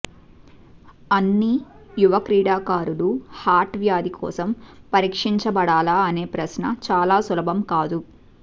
అన్ని యువ క్రీడాకారులు హార్ట్ వ్యాధి కోసం పరీక్షించబడాలా అనే ప్రశ్న చాలా సులభం కాదు